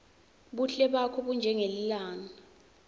buhle bakho bunjengelilanga